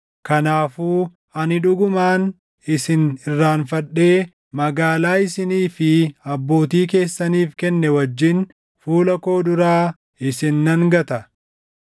Kanaafuu ani dhugumaan isin irraanfadhee magaalaa isinii fi abbootii keessaniif kenne wajjin fuula koo duraa isin nan gata.